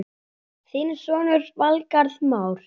Þinn sonur, Valgarð Már.